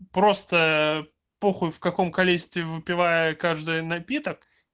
просто похуй в каком количестве выпивая каждый напиток